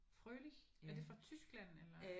Froelich. Er det fra Tyskland eller?